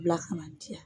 Bila kana diya